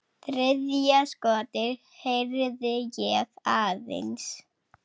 Þriðja skotið heyrði ég aðeins.